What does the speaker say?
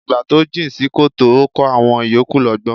Àgbà to jìn sí kòtò ó kọ́ àwọn ìyókù lọ́gbọ́n.